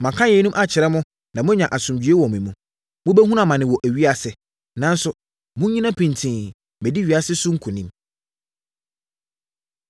“Maka yeinom akyerɛ mo na moanya asomdwoeɛ wɔ me mu. Mobɛhunu amane wɔ ewiase. Nanso, monnyina pintinn! Madi ewiase so nkonim!”